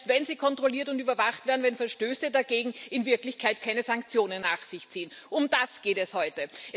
und selbst wenn sie kontrolliert und überwacht werden, wenn Verstöße dagegen in Wirklichkeit keine Sanktionen nach sich ziehen um das geht es heute.